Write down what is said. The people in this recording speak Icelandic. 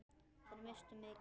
Þær misstu mikið.